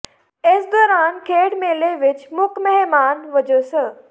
ਇਸ ਦੌਰਾਨ ਖੇਡ ਮੇਲੇ ਵਿਚ ਮੁੱਖ ਮਹਿਮਾਨ ਵਜੋਂ ਸ